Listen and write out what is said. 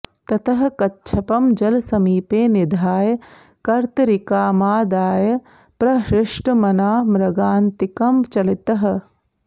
ततः कच्छपं जलसमीपे निधाय कर्तरिकामादाय प्रहृष्टमना मृगान्तिकं चलितः